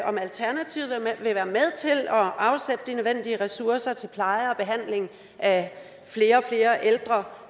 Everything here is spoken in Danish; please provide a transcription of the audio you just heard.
om alternativet vil være med til at afsætte de nødvendige ressourcer til pleje og behandling af flere og flere ældre